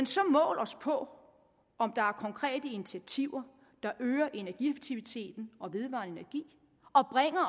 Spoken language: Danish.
så mål os på om der er konkrete initiativer der øger energieffektiviteten og vedvarende energi